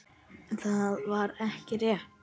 Það var ekki rétt.